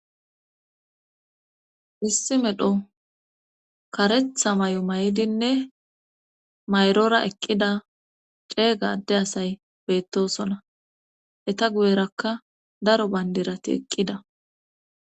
issi medho karetha may7o may7dinne mayrora eqqida ceeyga adde asay beettosona eta guyerakka daro bayndirati eqqida